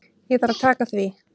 Ég þarf að taka því.